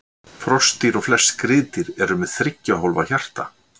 Froskdýr og flest skriðdýr eru með þriggja hólfa hjarta.